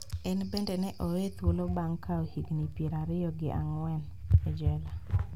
En bende ne oweye thuolo bang` kawo higni pier ariyo gi ang`wen e jela